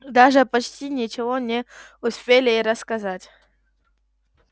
даже почти ничего не успели рассказать